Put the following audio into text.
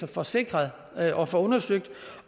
få sikret og få undersøgt